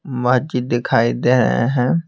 मस्जिद दिखाई दे रहे हैं।